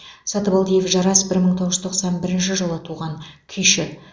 сатыбалдиев жарас бір мың тоыз жүз тоқсан бірінші жылы туған күйші